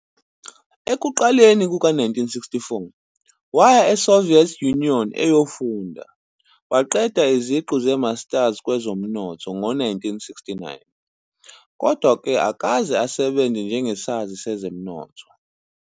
Ekuqaleni kuka-1964, waya eSoviet Union eyofunda, waqeda iziqu zeMasters kwezomnotho ngo-1969. Kodwa-ke akakaze asebenze njengesazi sezomnotho.